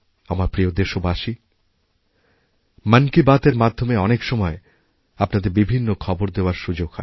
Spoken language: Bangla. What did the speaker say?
আমার প্রিয় দেশবাসী মন কি বাতএর মাধ্যমে অনেক সময় আপনাদের বিভিন্ন খবরদেওয়ার সুযোগ হয়